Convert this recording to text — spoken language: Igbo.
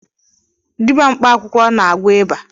Dịbịa mkpa akwụkwọ n'agwọ ịba